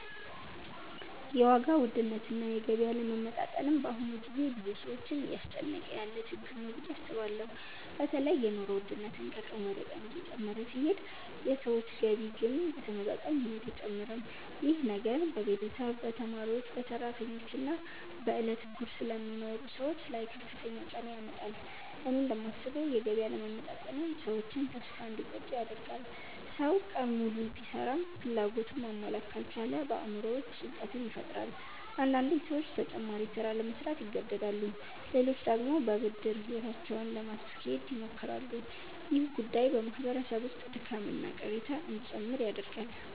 የዋጋ ውድነትና የገቢ አለመመጣጠን በአሁኑ ጊዜ ብዙ ሰዎችን እያስጨነቀ ያለ ችግር ነው ብዬ አስባለሁ። በተለይ የኑሮ ውድነት ከቀን ወደ ቀን እየጨመረ ሲሄድ የሰዎች ገቢ ግን በተመጣጣኝ ሁኔታ አይጨምርም። ይህ ነገር በቤተሰብ፣ በተማሪዎች፣ በሰራተኞች እና በዕለት ጉርስ ለሚኖሩ ሰዎች ላይ ከፍተኛ ጫና ያመጣል። እኔ እንደማስበው የገቢ አለመመጣጠን ሰዎችን ተስፋ እንዲቆርጡ ያደርጋል። ሰው ቀን ሙሉ ቢሰራም ፍላጎቱን ማሟላት ካልቻለ በአእምሮው ውስጥ ጭንቀት ይፈጠራል። አንዳንዴ ሰዎች ተጨማሪ ሥራ ለመሥራት ይገደዳሉ፣ ሌሎች ደግሞ በብድር ሕይወታቸውን ለማስኬድ ይሞክራሉ። ይህ ጉዳይ በማህበረሰብ ውስጥ ድካምና ቅሬታ እንዲጨምር ያደርጋል።